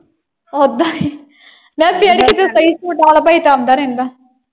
ਓਦਾਂ ਹੀ ਯਾਰ ਫੇਰ ਕੀਤੇ ਸਹੀ। ਸੁੱਟਣ ਵਾਲਾ ਭਾਈ ਤੇ ਆਉਂਦਾ ਰਹਿੰਦਾ।